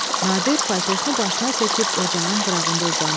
Nadir paltosunu başına çəkib ocağın qırağında uzandı.